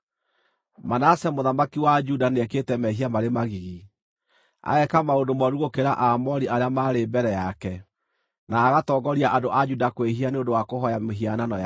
“Manase mũthamaki wa Juda nĩekĩte mehia marĩ magigi. Ageeka maũndũ mooru gũkĩra Aamori arĩa maarĩ mbere yake, na agatongoria andũ a Juda kwĩhia nĩ ũndũ wa kũhooya mĩhianano yake.